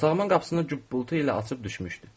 Otağımın qapısını bulbu ilə açıb düşmüşdü.